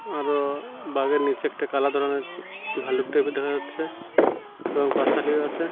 আরও বাঘের নীচে একটা কালা ধরনের ভাল্লুক টেবিল দেখা যাচ্ছে এবং বাচ্চাটিও আছে।